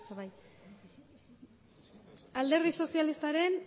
alderdi sozialistaren